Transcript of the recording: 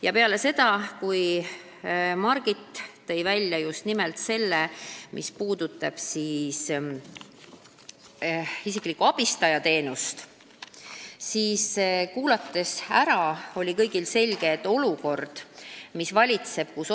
Ja peale seda, kui Margit tõi välja just nimelt isikliku abistaja teenuse, ehk tema ärakuulamise järel oli kõigile selge, milline on valitsev olukord.